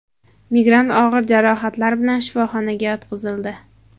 Migrant og‘ir jarohatlar bilan shifoxonaga yotqizildi.